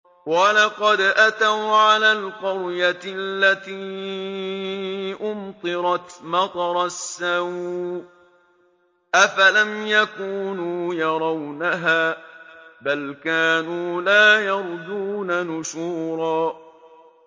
وَلَقَدْ أَتَوْا عَلَى الْقَرْيَةِ الَّتِي أُمْطِرَتْ مَطَرَ السَّوْءِ ۚ أَفَلَمْ يَكُونُوا يَرَوْنَهَا ۚ بَلْ كَانُوا لَا يَرْجُونَ نُشُورًا